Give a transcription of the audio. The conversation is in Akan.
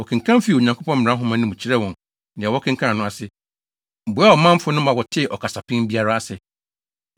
Wɔkenkan fii Onyankopɔn mmara nhoma no mu kyerɛɛ wɔn nea wɔkenkanee no ase, boaa ɔmanfo no ma wɔtee ɔkasapɛn biara ase.